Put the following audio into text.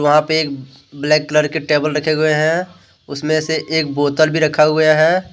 वहां पे एक ब्लेक कलर का टेबल रखे हुए है उसमे से एक बोतल भी रखा हुए है।